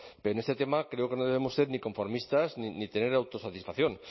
pero en este tema creo que no debemos ser ni conformistas ni tener autosatisfacción